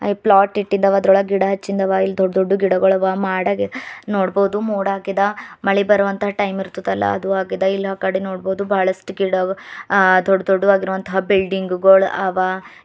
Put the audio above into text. Flat ಇಟ್ಟಿದ್ದ ಅವಾ ಅದರೊಳಗ್ ಗಿಡಿ ಹಚ್ಚಿಂದ್ದ ಅವಾ ಇಲ್ಲಿ ದೊಡ್ಡ ದೊಡ್ದು ಗಿಡಗೊಳ ಆವಾ ಮಾಡಾಗಿ ನೋಡಬೊದು ಮೋಡ ಆಗೇದ ಮಳಿ ಬರುವಂತ ಟೈಮ್ ಇರ್ತದ ಅಲಾ ಅದು ಆಗೇದ ಇಲ್ಲಿ ಆಕಡಿ ನೋಡಬೊದು ಬಹಳಸ್ಟ ಗಿಡ ಅ ದೊಡ್ಡ ದೊಡ್ದು ಆಗಿರುವಂತಹ ಬಿಲ್ಡಿಂಗ ಗೋಳ ಅವಾ.